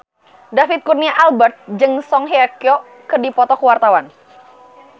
David Kurnia Albert jeung Song Hye Kyo keur dipoto ku wartawan